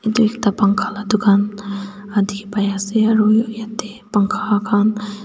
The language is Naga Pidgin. yate ekta pangkha la dukan yate bai ase aro yate pangkha khan--